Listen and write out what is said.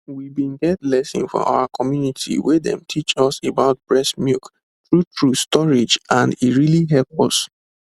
we bin get lesson for our community wey dem teach us about breast milk true true storage and e really help us